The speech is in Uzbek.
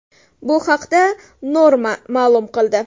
Bu haqda Norma ma’lum qildi .